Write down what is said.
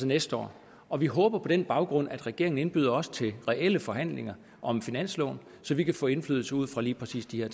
næste år og vi håber på den baggrund at regeringen indbyder os til reelle forhandlinger om finansloven så vi kan få indflydelse ud fra lige præcis de her